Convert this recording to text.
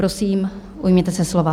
Prosím, ujměte se slova.